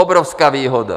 Obrovská výhoda.